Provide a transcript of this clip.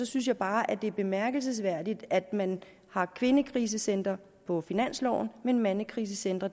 synes jeg bare at det er bemærkelsesværdigt at man har kvindekrisecentre på finansloven men mandekrisecentre